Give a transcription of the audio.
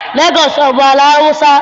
Legọọsị abụ ala Awụsa?